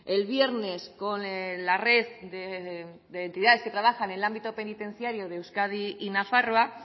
el viernes con la red de entidades que trabajan el ámbito penitenciario de euskadi y nafarroa